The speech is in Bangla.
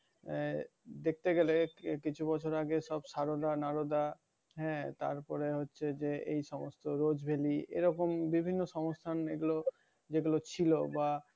আহ দেখতে গেলে কিছু বছর আগে সব সারোদা নারোদা আহ এই তারপর হচ্ছে যে এই সমস্ত rose valley এরকম বিভিন্ন সংস্থান এগুলো যেগুলো ছিল। বা,